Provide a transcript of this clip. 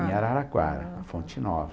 Em Araraquara, Fonte Nova.